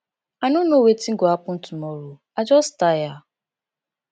i no know wetin go happen tomorrow i just tire